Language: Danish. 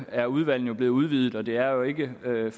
er udvalgene blevet udvidet og det er jo ikke sådan